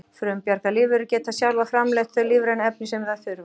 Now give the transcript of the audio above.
Frumbjarga lífverur geta sjálfar framleitt þau lífrænu efni sem þær þurfa.